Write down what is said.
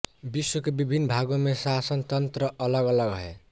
विश्व के विभिन्न भागों में शासनतन्त्र अलगअलग हैं